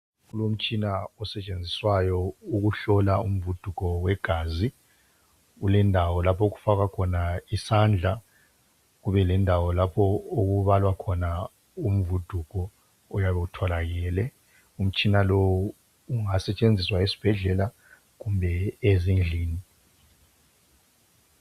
Kulomtshina osetshenziswayo ukuhlola umvuduko wegazi, kulendawo laph' okufakwa khona isandla kubelendawo lapho okubalwa khona umvuduko oyabe utholakele. Umtshina lowu ungasetshenziswa yisbhedlela kumbe ezindlini.